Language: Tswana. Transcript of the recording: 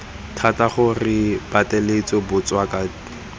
thata gore re pateletse batswakwa